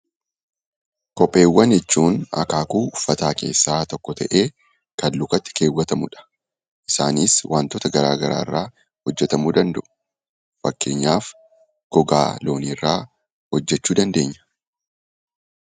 Kopheewwan jechuun akaakuu uffataa keessaa tokko ta'ee, kan lukatti keewwatamudha. Isaanis waantota garaa garaa irraa hojjetamuu danda'u. Fakkeenyaaf gogaa loonii irraa hojjechuu dandeenya.